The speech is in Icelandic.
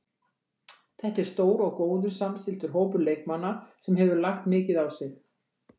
Þetta er stór og góður samstilltur hópur leikmanna sem hefur lagt mikið á sig.